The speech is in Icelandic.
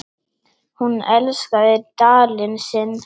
Hún elskaði Dalinn sinn.